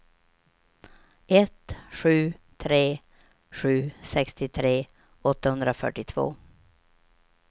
ett sju tre sju sextiotre åttahundrafyrtiotvå